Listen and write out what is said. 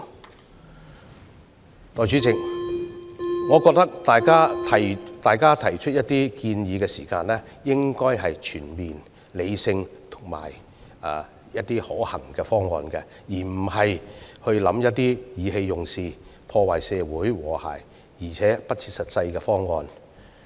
代理主席，我認為大家在作出建議時，應提出全面、理性及可行的方案，而非意氣用事、破壞社會和諧且不切實際的方案。